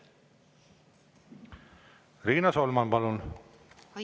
Riina Solman, palun!